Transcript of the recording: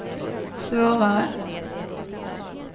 svårare